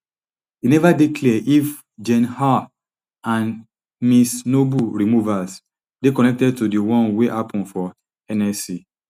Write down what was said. e neva dey clear if gen haugh and ms noble removals dey connected to di one wey happun for nsc